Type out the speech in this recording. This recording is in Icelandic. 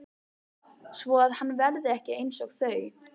Svoað hann verði ekki einsog þau.